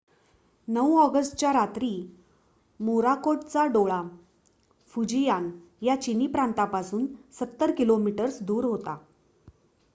9 ऑगस्टच्या रात्री मोराकोटचा डोळा फुजियान या चिनी प्रांतापासून सत्तर किलोमीटर्स दूर होता